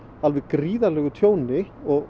alveg gríðarlegu tjóni og